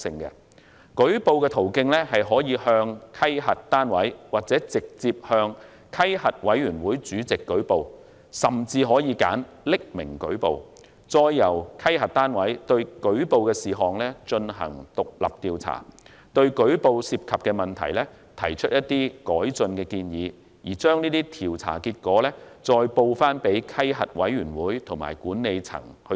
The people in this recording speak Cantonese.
員工可以向稽核單位或直接向稽核委員會主席舉報，甚至可以選擇匿名舉報，再由稽核單位對舉報的事項進行獨立調查，對舉報涉及的問題提出改進建議，並將調查結果向稽核委員會及管理層報告。